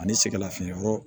Ani sɛgɛn lafiɲɛbɔ